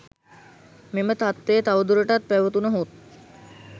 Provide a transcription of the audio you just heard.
මෙම තත්ත්වය තවදුරටත් පැවතුණහොත්